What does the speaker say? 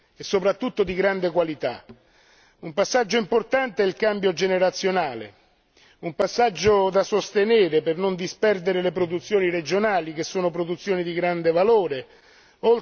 Un passaggio importante è il cambio generazionale, un passaggio da sostenere per non disperdere le produzioni regionali che sono produzioni di grande valore, oltre a tradizioni e usanze secolari.